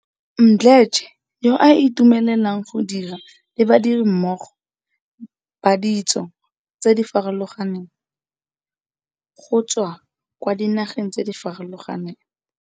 Mdletshe, yo a itumelelang go dira le badirimmogo ba ditso tse di farologaneng, go tswa kwa dinageng tse di farologaneng.